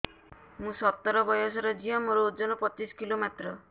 ମୁଁ ସତର ବୟସର ଝିଅ ମୋର ଓଜନ ପଚିଶି କିଲୋ ମାତ୍ର